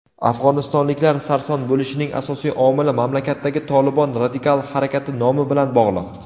afg‘onistonliklar sarson bo‘lishining asosiy omili mamlakatdagi "Tolibon" radikal harakati nomi bilan bog‘liq.